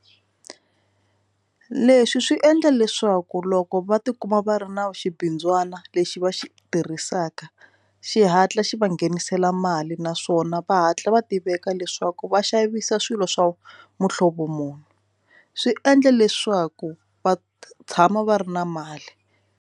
Leswi swi endla leswaku loko va tikuma va ri na xibindzwana lexi va xi tirhisaka xihatla xi va nghenisela mali naswona va hatla va tiveka leswaku va xavisa swilo swa muhlovo muni swi endla leswaku va tshama va ri na mali.